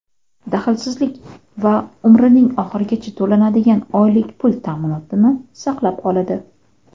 daxlsizlik va umrining oxirigacha to‘lanadigan oylik pul ta’minotini saqlab qoladi.